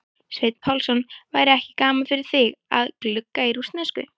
Sveinn Pálsson: væri ekki gaman fyrir þig að glugga í rússnesku?